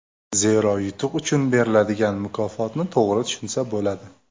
Zero yutuq uchun beriladigan mukofotni to‘g‘ri tushunsa bo‘ladi.